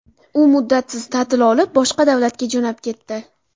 U muddatsiz ta’til olib, boshqa davlatga jo‘nab ketdi.